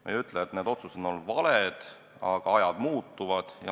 Ma ei ütle, et need otsused on olnud valed, aga ajad muutuvad.